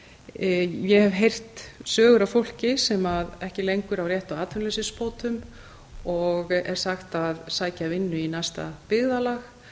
ég hef heyrt sögur af fólki sem ekki lengur á rétt á atvinnuleysisbótum og er sagt að sækja um vinnu í næsta byggðarlag